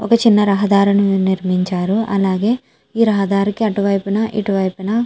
ఒక చిన్న రహదారుని నిర్మించారు అలాగే ఈ రహదారికి అటు వైపున ఇటు వైపున.